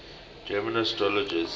german astrologers